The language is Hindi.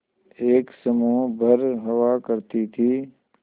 एक समूह भर हुआ करती थी